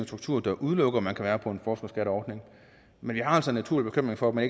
struktur der udelukker at man kan være på en forskerskatteordning men vi har altså en naturlig bekymring for at man